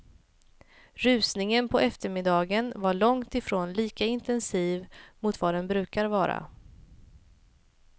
Rusningen på eftermiddagen var långt ifrån lika intensiv mot vad den brukar vara.